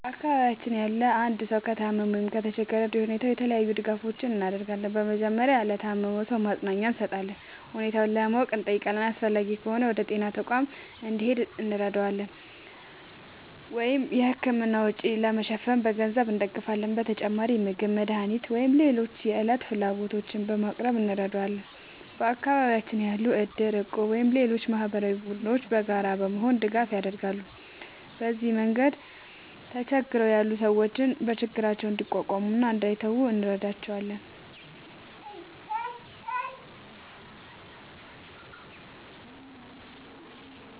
በአካባቢያችን ያለ አንድ ሰው ከታመመ ወይም ከተቸገረ እንደ ሁኔታው የተለያዩ ድጋፎችን እናደርጋለን። በመጀመሪያ ለታመመው ሰው ማጽናኛ እንሰጣለን እና ሁኔታውን ለማወቅ እንጠይቃለን። አስፈላጊ ከሆነ ወደ ጤና ተቋም እንዲሄድ እንረዳዋለን ወይም የሕክምና ወጪ ለመሸፈን በገንዘብ እንደግፋለን። በተጨማሪም ምግብ፣ መድኃኒት ወይም ሌሎች የዕለት ፍላጎቶችን በማቅረብ እንረዳዋለን። በአካባቢያችን ያሉ እድር፣ እቁብ ወይም ሌሎች ማህበራዊ ቡድኖችም በጋራ በመሆን ድጋፍ ያደርጋሉ። በዚህ መንገድ ተቸግረው ያሉ ሰዎች ችግራቸውን እንዲቋቋሙ እና እንዳይተዉ እንረዳቸዋለን።